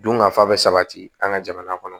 Dunkafa bɛ sabati an ka jamana kɔnɔ